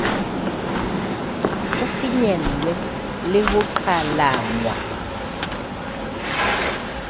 ho finyellwe le ho qhalanngwa